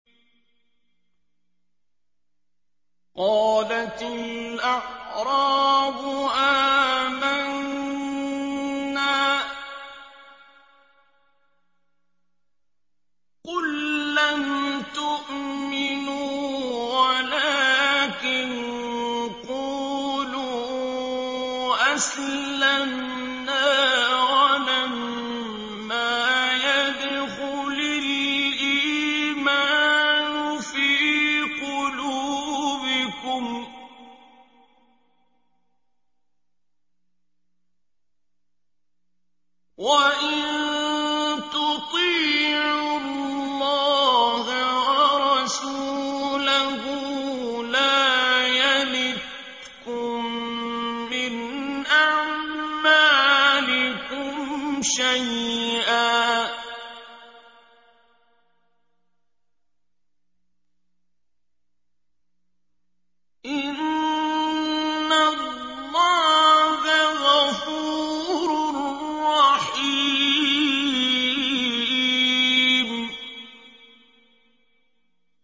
۞ قَالَتِ الْأَعْرَابُ آمَنَّا ۖ قُل لَّمْ تُؤْمِنُوا وَلَٰكِن قُولُوا أَسْلَمْنَا وَلَمَّا يَدْخُلِ الْإِيمَانُ فِي قُلُوبِكُمْ ۖ وَإِن تُطِيعُوا اللَّهَ وَرَسُولَهُ لَا يَلِتْكُم مِّنْ أَعْمَالِكُمْ شَيْئًا ۚ إِنَّ اللَّهَ غَفُورٌ رَّحِيمٌ